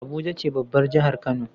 Abuja ce babbar jahar kano